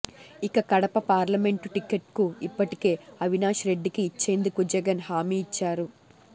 ఇక కడప పార్లమెంటు టిక్కెట్కు ఇప్పటికే అవినాష్ రెడ్డికి ఇచ్చేందుకు జగన్ హామీ ఇచ్చారు